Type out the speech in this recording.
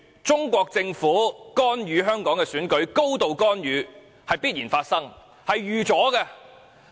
中國政府高度干預香港的選舉是必然發生的，亦是意料之內。